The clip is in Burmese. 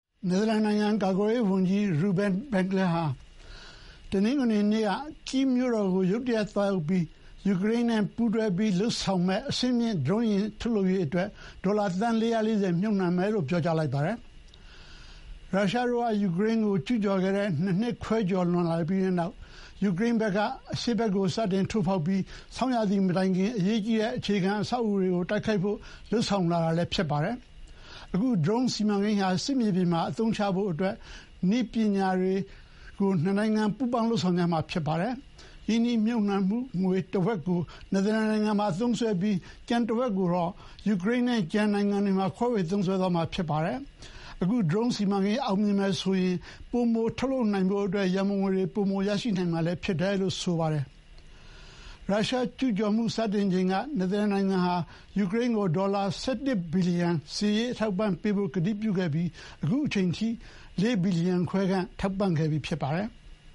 နယ်သာလန်နိုင်ငံကာကွယ်ရေးဝန်ကြီး Ruben Brekelmans ဟာ တနင်္ဂနွေနေ့က Kyiv မြို့တော်ကို ရုတ်တရက်သွားရောက်ခဲ့ပြီး ယူကရိန်းနဲ့ပူးတွဲလုပ်ဆောင်မယ့် အဆင့်မြင့်ဒရုန်းယာဥ်ထုတ်လုပ်ဖို့ ဒေါ်လာသန်း ၄၄၀ မြှုပ်နှံမယ်လို့ ပြောကြားလိုက်ပါတယ်။ ရုရှားတို့က ယူကရိန်းကိုကျူးကျော်ခဲ့တဲ့ ၂ နှစ်ခွဲကျော်လွန်လာပြီးတဲ့နောက် ယူကရိန်းဘက်က အရှေ့ဖက်ကို စတင်ထိုးဖောက်လာပြီး ဆောင်းရာသီမတိုင်ခင် အရေးကြီးတဲ့အခြေခံအဆောက်အအုံ တွေကို တိုက်ခိုက်ဖို့ လုပ်ဆောင်လာတာလည်း ဖြစ်ပါတယ်။ အခုဒရုန်းစီမံကိန်းဟာ စစ်မြေပြင်မှာ အသုံးချဖို့ နှစ်နိုင်ငံနည်းပညာတွေ ပူးပေါင်းလုပ်ဆောင်ကြမှာဖြစ်ပါတယ်။ ရင်းနှီးမြှုပ်နှံငွေတဝက်ကို နယ်သာလန်နိုင်ငံကသုံးစွဲပြီး ကျန်တဝက်ကိုတော့ ယူကရိန်းနဲ့ ကျန်နိုင်ငံတွေမှာ ခွဲဝေသုံးစွဲသွားမှာ ဖြစ်ပါတယ်။ အခုဒရုန်းစီမံကိန်းအောင်မြင်တယ်ဆိုရင် ပိုမိုထုတ်လုပ်နိုင်ဖို့အတွက် ရံပုံငွေတွေ ပိုမိုရရှိနိုင်လိမ့်မယ် လို့လည်း နယ်သာလန်ကာကွယ်ရေးဝန်ကြီးက ပြောပါတယ်။ ရုရှားကျူးကျော်မှုစတင်ချိန်က နယ်သာလန်နိုင်ငံဟာ ယူကရိန်းကို ဒေါ်လာ ၁၁ ဘီလီယံစစ်ရေးအထောက်အပံ့ပေးဖို့ ကတိပြုခဲ့ပြီး အခုချိန်ထိ ၄ ဘီလီယံခွဲခန့် ထောက်ပံ့ခဲ့ပြီးဖြစ်ပါတယ်။